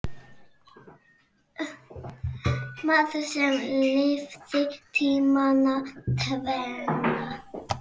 Maður sem lifði tímana tvenna.